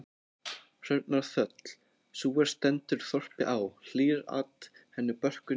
Hrörnar þöll, sú er stendur þorpi á, hlýr-at henni börkur né barr.